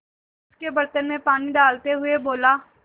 उसके बर्तन में पानी डालते हुए बोला